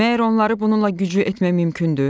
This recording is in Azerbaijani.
Məyər onları bununla güclü etmək mümkündür?